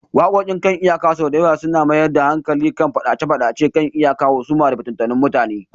Waƙoƙi kan iyaka sau da yawa suna mayar da hankali kan fadace-fadacen kan iyaka, husuma, da fitattun mutane